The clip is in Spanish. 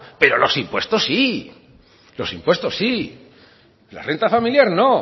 pero los impuestos sí los impuestos sí la renta familiar no